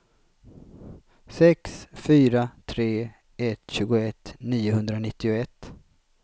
sex fyra tre ett tjugoett niohundranittioett